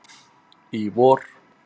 í vor.